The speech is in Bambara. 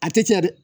A tɛ caya dɛ